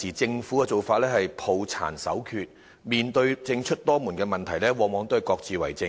政府現時的做法是抱殘守缺，面對政出多門的問題，往往各自為政。